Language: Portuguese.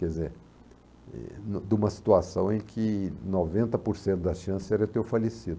Quer dizer, de uma situação em que noventa por cento da chance era eu ter falecido.